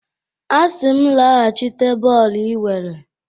A sị m laghachite bọọlụ i were!